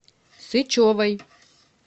сычевой